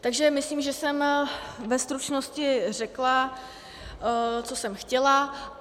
Takže myslím, že jsem ve stručnosti řekla, co jsem chtěla.